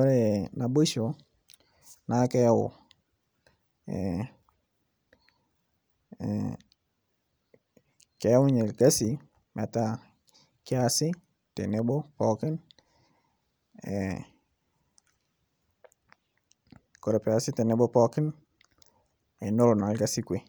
ore naboisho naa kisho orkasi metaa keasi tenebo pookin nesioyo.